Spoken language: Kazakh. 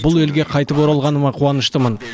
бұл елге қайтып оралғаныма қуаныштымын